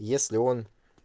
если он